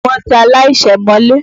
Wọ́n ti aláìṣẹ̀ mọ́lé.